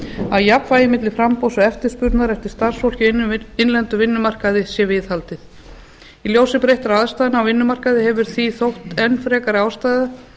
að jafnvægi milli framboðs og eftirspurnar eftir starfsfólki á innlendum vinnumarkaði sé viðhaldið í ljósi breyttra aðstæðna á vinnumarkaði hefur því þótt enn frekar ástæða vera